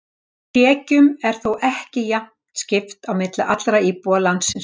Tekjum er þó ekki jafnt skipt á milli allra íbúa landsins.